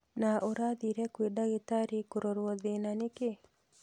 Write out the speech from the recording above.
Na ũrathire kwĩ ndagĩtarĩ kũrorwo thĩna nĩkĩĩ?